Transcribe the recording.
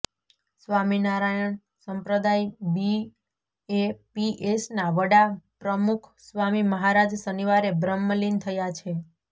સ્વામીનારાયણ સંપ્રદાય બીએપીએસના વડા પ્રમુખસ્વામી મહારાજ શનિવારે બ્રહ્મલીન થયા છે